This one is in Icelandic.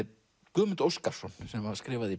Guðmund Óskarsson sem skrifaði